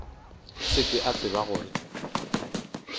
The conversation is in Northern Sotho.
se ke a tseba gore